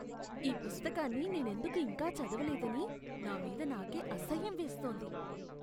ఈ పుస్తకాన్ని నేనెందుకు ఇంకా చదవలేదని నా మీద నాకే అసహ్యం వేస్తోంది.